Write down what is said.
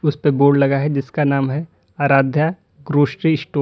उस पे बोर्ड लगा है जिसका नाम है आराध्य ग्रॉसरी स्टोर ।